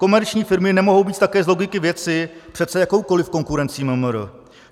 Komerční firmy nemohou být také z logiky věci přece jakoukoliv konkurencí MMR.